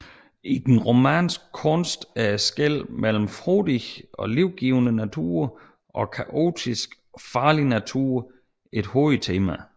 I den romanske kunst er skellet mellem frodig og livgivende natur og kaotisk og farlig natur et hovedtema